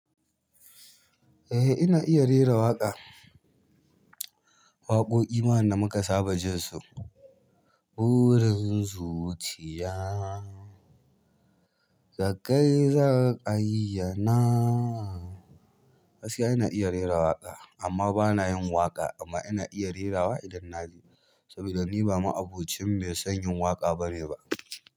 Eh ina iya rera waƙa. Waƙoƙi ma wanda muka saba jin su. Burin zuciya, da kai zan aiyyana. Gaskiya ina iya rera waƙa amma bana yin waƙa amma ina iya rerawa idan na ji. Saboda ni ba ma'abocin mai son yin waƙa bane ba.